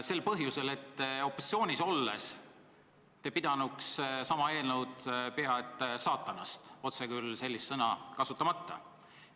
Seda põhjusel, et opositsioonis olles oleks te sama eelnõu pidanud pea et saatanast olevaks, otse küll sellist sõna kasutamata.